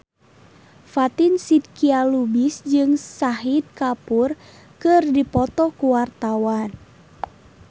Fatin Shidqia Lubis jeung Shahid Kapoor keur dipoto ku wartawan